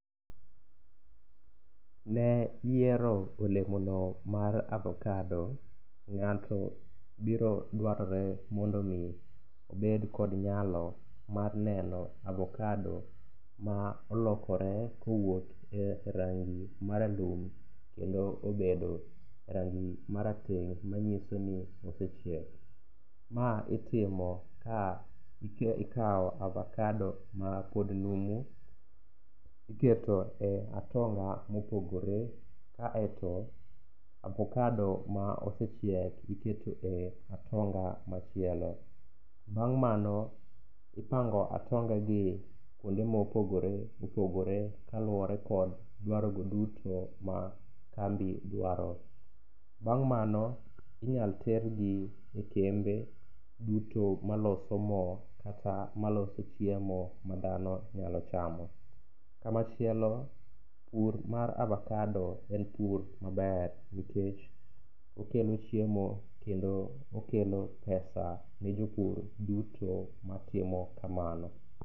Ne yiero olemono mar avokado, ng'ato biro dwarore mondo omi obed kod nyalo mar neno avokado ma olokore kowuok e rangi maralum kendo obedo rangi marateng' manyiso ni osechiek. Ma itimo ka ikawo avakado mapod numu iketo e atonga mopogore kaeto avokado ma osechiek iketo e atonga machielo. Bang' mano ipango atongagi kuonde mopogore opogore kaluwore kod dwarogo duto ma kambi dwaro. Bang' mano inyal tergi e kembe duto maloso mo kata maloso chiemo ma dhanoi nyalo chamo. Kamachielo pur mar avakado en pur maber nikech okelo chiemo kendo okelo pesa ne jopur duto matimo kamano.